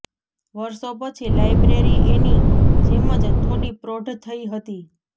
વરસો પછી લાઈબ્રેરી એની જેમ જ થોડી પ્રૌઢ થઈ હતી